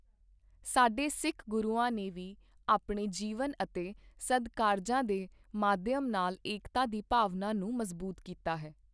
ਸਾਡੇ ਸਿੱਖ ਗੁਰੂਆਂ ਨੇ ਵੀ ਆਪਣੇ ਜੀਵਨ ਅਤੇ ਸਦਕਾਰਜਾਂ ਦੇ ਮਾਧਿਅਮ ਨਾਲ ਏਕਤਾ ਦੀ ਭਾਵਨਾ ਨੂੰ ਮਜ਼ਬੂਤ ਕੀਤਾ ਹੈ।